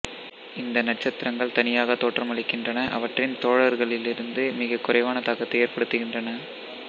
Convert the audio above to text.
இந்த நட்சத்திரங்கள் தனியாக தோற்றமளிக்கின்றன அவற்றின் தோழர்களிலிருந்து மிகக் குறைவான தாக்கத்தை ஏற்படுத்துகின்றன